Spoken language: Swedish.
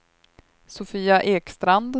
Sofia Ekstrand